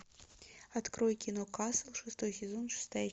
открой кино касл шестой сезон шестая